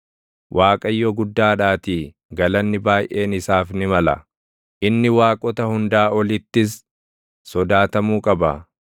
Waaqayyo guddaadhaatii galanni baayʼeen isaaf ni mala; inni waaqota hundaa olittis sodaatamuu qaba.